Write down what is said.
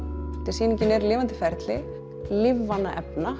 sýningin er lifandi ferli lífvana efna